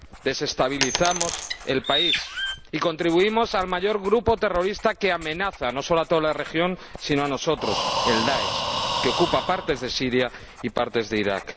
Desestabilizamos el país y contribuimos al surgimiento del mayor grupo terrorista que amenaza no solo a toda la región, sino también a nosotros el Daesh, que ocupa partes de Siria y partes de Irak.